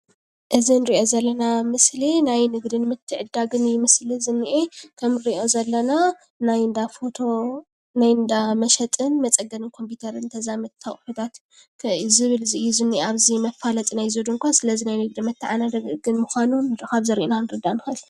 እዚ እንርኦ ዘለና ምስሊ ናይ ንግድን ምትዕድዳግን ምስሊ እዩ ዝነኤ:: ከምንርኦ ዘለና ናይ እንዳ ፎቶ ናይ እንዳ መሸጣን መፀገኒን ኮምፒተርን ተዛመድትን ኣቑሑት እዩ ዝብል ዝኒኤ ኣብዚ መፋለጢ እዚ ድኳን:: ስለዚ ናይ ንግድን መታዓዳደግን ምኳኑ ካብዚ ርኢና ክንርዳእ ንክእል።